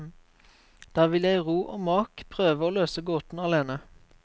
Der vil jeg i ro og mak prøve å løse gåten alene.